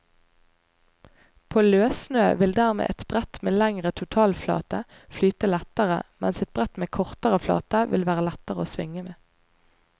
På løssnø vil dermed et brett med lengre totalflate flyte lettere, mens et brett med kortere flate vil være lettere å svinge med.